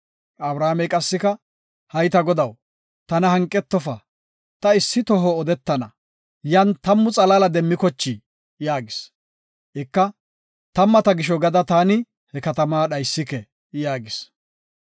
Abrahaamey qassika, “Hay ta Godaw, tana hanqetofa ta issi toho odetana, yan tammu xalaala demmikochii?” yaagis. Ika, “Tammata gisho gada taani he katama dhaysike” yaagis.